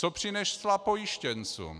Co přinesla pojištěncům?